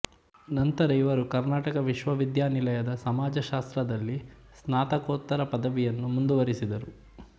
ನಂತರ ಇವರು ಕರ್ನಾಟಕ ವಿಶ್ವವಿದ್ಯಾಲಯದ ಸಮಾಜಶಾಸ್ತ್ರದಲ್ಲಿ ಸ್ನಾತಕೋತ್ತರ ಪದವಿಯನ್ನು ಮುಂದುವರೆಸಿದರು